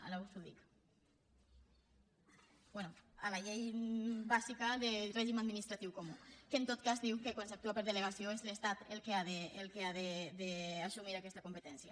ara us ho dic bé a la llei bàsica de règim administratiu comú que en tot cas diu que quan s’actua per delegació és l’estat el que ha d’assumir aquesta competència